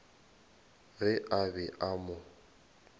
ge a be a mo